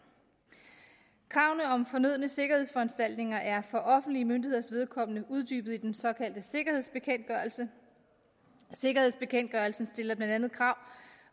kravene om fornødne sikkerhedsforanstaltninger er for offentlige myndigheders vedkommende uddybet i den såkaldte sikkerhedsbekendtgørelse sikkerhedsbekendtgørelsen stiller blandt andet krav